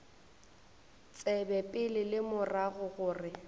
tsebe pele le morago gore